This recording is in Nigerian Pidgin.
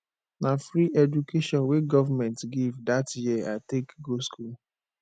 na free education wey government give dat year i take go skool